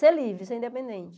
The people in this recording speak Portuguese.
Ser livre, ser independente.